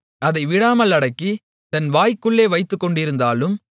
அதை விடாமல் அடக்கி தன் வாய்க்குள்ளே வைத்துக்கொண்டிருந்தாலும்